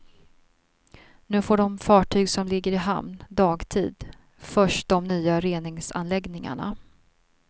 Nu får de fartyg som ligger i hamn dagtid först de nya reningsanläggningarna.